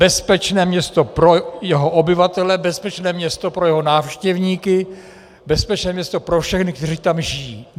Bezpečné město pro jeho obyvatele, bezpečné město pro jeho návštěvníky, bezpečné město pro všechny, kteří tam žijí.